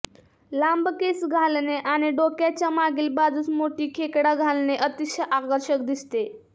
लांब केस घालणे आणि डोक्याच्या मागील बाजूस मोठी खेकडा घालणे अतिशय आकर्षक दिसते